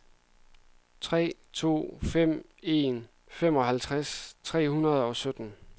tre to fem en femoghalvtreds tre hundrede og sytten